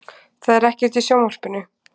Það er ekkert í sjónvarpinu.